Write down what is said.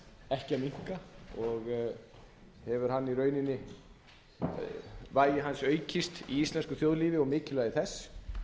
ekki að minnka og hefur og hefur vægi hans aukist í íslensku þjóðlífi og mikilvægi þess